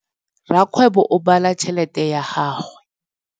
Rakgwêbô o bala tšheletê ya gagwe.